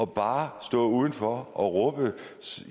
bare at stå udenfor og råbe